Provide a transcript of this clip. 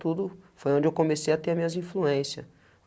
Tudo foi onde eu comecei a ter minhas influência.